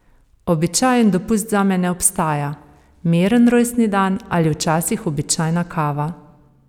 Običajen dopust zame ne obstaja, miren rojstni dan ali včasih običajna kava.